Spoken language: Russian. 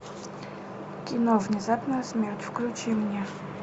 кино внезапная смерть включи мне